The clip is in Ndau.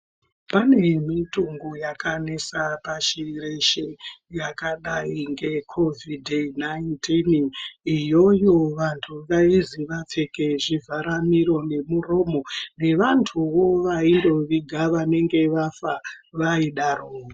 Pane mitungu yakanesa pashi reshe yakadai ngekovhidhi nainitini iyoyo vanhu vaizi vapfeke zvivhara miro nemuromo nevantuwo vaindoviga vanenge vafa vaidarowo.